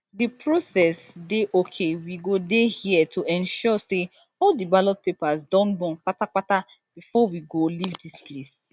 di process dey okay we go dey here to ensure say all di ballot papers don burn kpata kpata bifor we go leave dis place